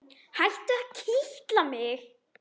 Hættu að kitla mig.